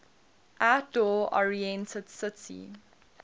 outdoor oriented city